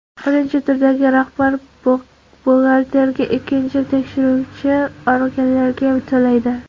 Birinchi turdagi rahbar buxgalterga, ikkinchisi tekshiruvchi organlarga to‘laydi.